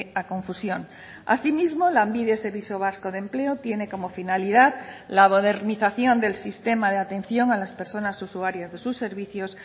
a confusión asimismo lanbide servicio vasco de empleo tiene como finalidad la modernización del sistema de atención a las personas usuarias de sus servicios